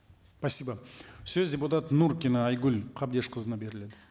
спасибо сөз депутат нуркина айгүл қабдешқызына беріледі